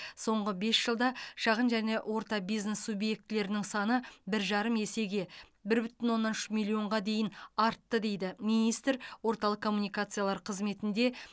соңғы бес жылда шағын және орта бизнес субъектілерінің саны бір жарым есеге бір бүтін оннан үш миллионға дейін артты деді министр орталық коммуникациялар қызметінде